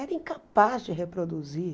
Era incapaz de reproduzir.